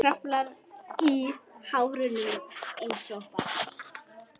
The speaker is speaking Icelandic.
Kraflar í hárunum einsog barn.